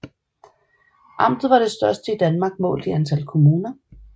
Amtet var det største i Danmark målt i antal kommuner